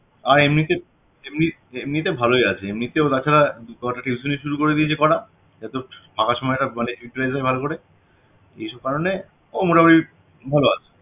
আর এমনিতে এমনি~ এমনিতে ভালোই আছে এমনিতে তাছাড়া কটা tuition ই শুরু করে দিয়েছে করা এত ফাঁকা সময়টা মানে utilize হয় ভালো করে এসব কারণে ও মোটামুটি ভালোই আছে